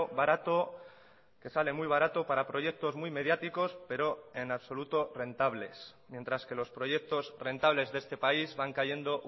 barato que sale muy barato para proyectos muy mediáticos pero en absoluto rentables mientras que los proyectos rentables de este país van cayendo